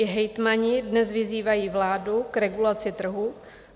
I hejtmani dnes vyzývají vládu k regulaci trhu.